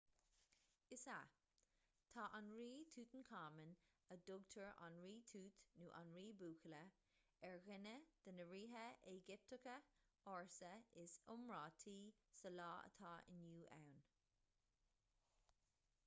is ea tá an rí tútancáman a dtugtar an rí tút nó an rí buachalla ar dhuine de na ríthe éigipteacha ársa is iomráití sa lá atá inniu ann